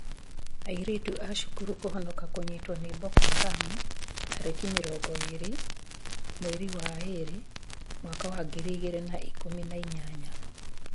Airĩtu a cũkuru kũhonoka kũnyitwo nĩ Boko Haram tarĩki mĩrongo ĩrĩ mweri wa ĩrĩ mwaka wa ngiri igĩrĩ na ikũmi na inyanya